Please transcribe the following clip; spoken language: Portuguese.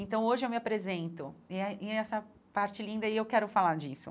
Então hoje eu me apresento, e é e é essa parte linda e eu quero falar disso.